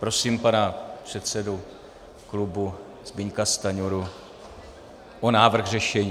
Prosím pana předsedu klubu Zbyňka Stanjuru o návrh řešení.